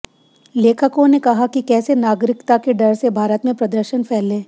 लेखकों ने कहा कि कैसे नागरिकता के डर से भारत में प्रदर्शन फैले